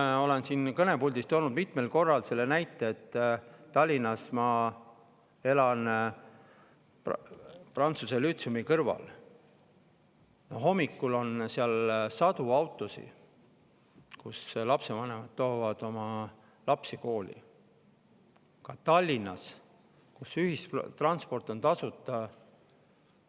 Ma olen siit kõnepuldist toonud mitmel korral selle näite, et Tallinnas ma elan prantsuse lütseumi kõrval ja seal on hommikuti sadu autosid, sest lapsevanemad toovad lapsi kooli, seda ka Tallinnas, kus ühistransport on tasuta.